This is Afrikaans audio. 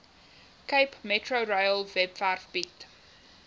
capemetrorail webwerf bied